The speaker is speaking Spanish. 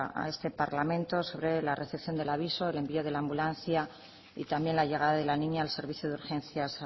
a este parlamento se ve la recepción del aviso el envío de la ambulancia y también la llegada de la niña al servicio de urgencias